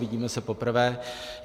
Vidíme se poprvé.